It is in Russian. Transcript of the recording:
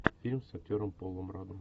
фильм с актером полом раддом